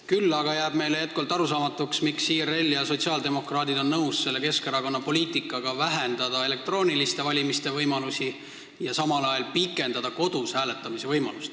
Küll aga jääb meile jätkuvalt arusaamatuks, miks IRL ja sotsiaaldemokraadid on nõus Keskerakonna selle poliitikaga, et vähendatakse elektrooniliselt valimise võimalusi ja samal ajal pikendatakse kodus hääletamise aega.